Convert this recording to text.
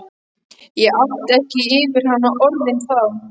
Ég átti ekki yfir hana orðin þá.